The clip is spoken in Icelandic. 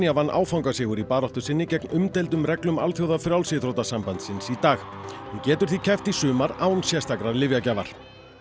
vann áfangasigur í baráttu sinni gegn umdeildum reglum Alþjóðafrjálsíþróttasambandsins í dag hún getur því keppt í sumar án sérstakrar lyfjagjafar